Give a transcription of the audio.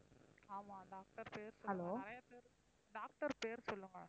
ஆமாம் doctor பேர் சொல்லுங்க. நிறைய பேர் doctor பேர் சொல்லுங்க?